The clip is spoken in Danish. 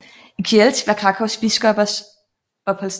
I Kielce var Krakóws biskopers opholdssted